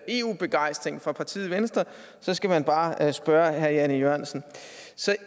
eu begejstring fra partiet venstre skal man bare spørge herre jan e jørgensen